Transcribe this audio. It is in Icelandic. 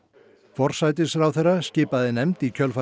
forsætisráðherra skipaði nefnd í kjölfar